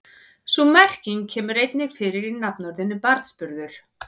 Sú merking kemur einnig fyrir í nafnorðinu barnsburður.